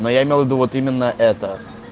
но я имел ввиду вот именно это